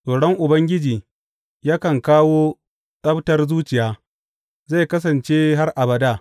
Tsoron Ubangiji yakan kawo tsabtar zuciya, zai kasance har abada.